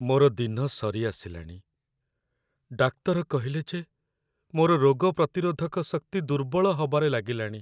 ମୋର ଦିନ ସରିଆସିଲାଣି । ଡାକ୍ତର କହିଲେ ଯେ ମୋର ରୋଗ ପ୍ରତିରୋଧକ ଶକ୍ତି ଦୁର୍ବଳ ହବାରେ ଲାଗିଲାଣି ।